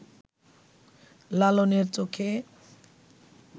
লালনের চোখে